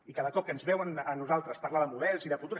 i cada cop que ens veuen a nosaltres parlar de models i de futur